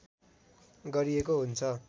गरिएको हुन्छ